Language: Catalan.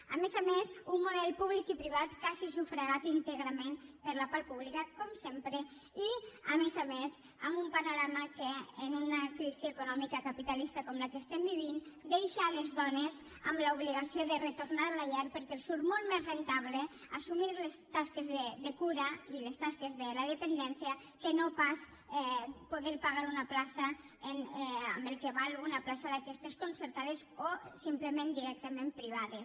a més a més un model públic i privat quasi sufragat íntegrament per la part pública com sempre i a més a més amb un panorama que amb una crisi econòmica capitalista com la que vivim deixa les dones amb l’obligació de retornar a la llar perquè els surt molt més rendible assumir les tasques de cura i les tasques de la dependència que no pas pagar una plaça amb el que val una plaça d’aquestes concertades o simplement directament privades